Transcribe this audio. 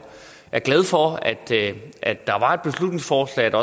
er glad for at der var et beslutningsforslag og